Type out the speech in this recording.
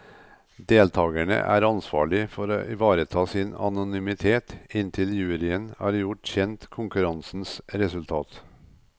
Deltagerne er ansvarlig for å ivareta sin anonymitet inntil juryen har gjort kjent konkurransens resultat.